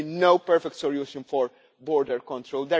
There will be no perfect solution for border control.